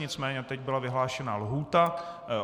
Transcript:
Nicméně teď byla vyhlášena lhůta.